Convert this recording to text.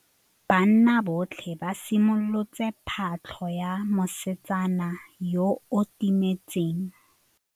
Banna botlhê ba simolotse patlô ya mosetsana yo o timetseng.